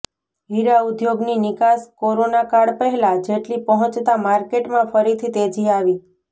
હીરા ઉદ્યોગની નિકાસ કોરોના કાળ પહેલા જેટલી પહોંચતા માર્કેટમાં ફરીથી તેજી આવી